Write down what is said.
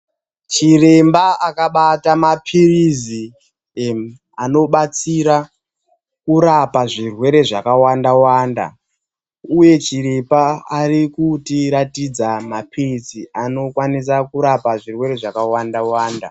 CHIREMBA AKABATA MAPIRIZI ANOBATSIRA KURAPA ZVIRWERE ZVAKAWANDAWANDA UYE CHIREMBA ARIKUTIRATIDZA MAPIRIZI ANOKWANISA KURAPA ZVIRWERE ZVAKAWANDAWANDA